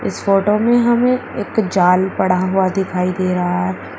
इस फोटो में हमें एक जाल पड़ा हुआ दिखाई दे रहा है।